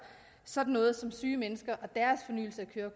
sådan noget som syge mennesker